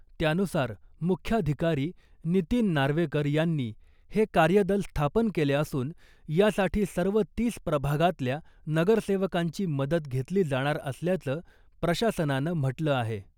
त्यानुसार मुख्याधिकारी नितीन नार्वेकर यांनी हे कार्यदल स्थापन केले असून यासाठी सर्व तीस प्रभागातल्या नगरसेवकांची मदत घेतली जाणार असल्याचं प्रशासनानं म्हटलं आहे .